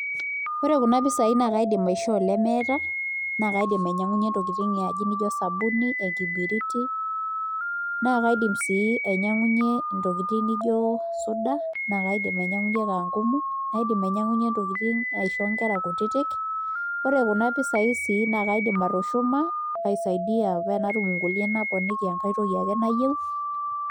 ore kuna pisai naa kaidim aishoo ile meeta naa kaidim anyang'unyie intokitin naijo osabuni enkiberiti naa kaidim sii nainyang'unyie intokitin naijo soda, idim anyiang'unyie inkankumuni, oo inkera kutitik naa kaidim sii atushuma inkulie naponiki entoki ake nayieu.